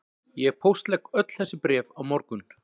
Ég póstlegg öll þessi bréf á morgun